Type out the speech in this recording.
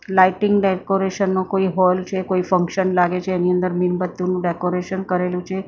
Lighting decoration નો કોઈ hall છે કોઈ ફંક્શન લાગે છે એની અંદર મીણબત્તીઓનું ડેકોરેશન કરેલું છે.